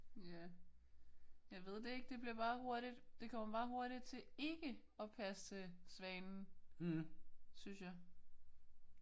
Ja jeg ved det ikke. Det bliver bare hurtigt det kommer meget hurtigt til ikke at passe til svanen synes jeg